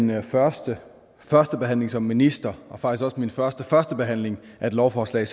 min første førstebehandling som minister og faktisk også min første førstebehandling af et lovforslag